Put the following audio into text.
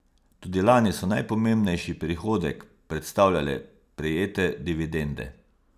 Tudi lani so najpomembnejši prihodek predstavljale prejete dividende.